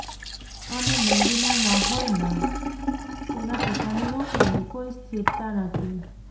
અને મંદીનો માહોલમાં તેના પિતાની નોકરીની કોઈ સ્થિરતા નથી